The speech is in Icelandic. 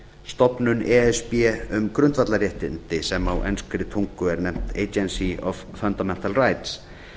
e s b um grundvallarréttindi sem á enskri tungu er nefnt agency of fundamental rights